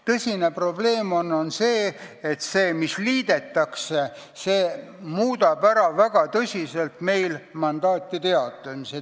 Tõsine probleem on, et see, mis liidetakse, muudab väga tõsiselt mandaatide jaotamist.